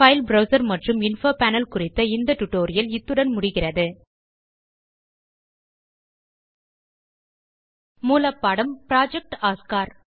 file browser மற்றும் info panel குறித்த இந்த டியூட்டோரியல் இத்துடன் முடிகிறது மூலப்பாடம் புரொஜெக்ட் ஒஸ்கார்